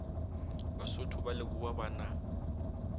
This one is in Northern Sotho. basotho ba lebowa ba na